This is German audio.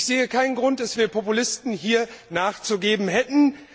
Ich sehe keinen Grund, dass wir Populisten hier nachzugeben hätten.